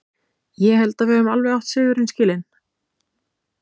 Ég held að við höfum alveg átt sigurinn skilinn.